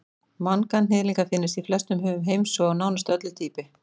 manganhnyðlingar finnast í flestum höfum heims og á nánast öllu dýpi